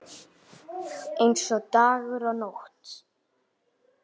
Eins og dagur og nótt.